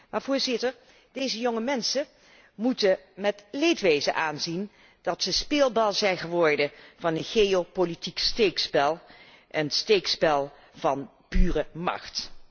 Maar Voorzitter, deze jonge mensen moeten met leedwezen aanzien dat ze de speelbal zijn geworden van een geopolitiek steekspel, een steekspel van pure macht.